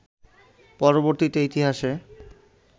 পরবর্তীতে ইতিহাসে